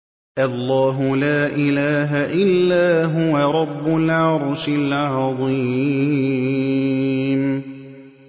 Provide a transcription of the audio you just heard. اللَّهُ لَا إِلَٰهَ إِلَّا هُوَ رَبُّ الْعَرْشِ الْعَظِيمِ ۩